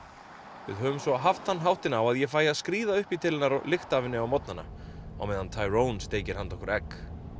við höfum svo haft þann háttinn á að ég fæ að skríða upp í til hennar og lykta af henni á morgnana á meðan steikir handa okkur egg